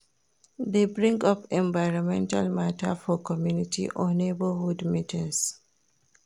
De bring up environmental matter for community or neighbourhood meetings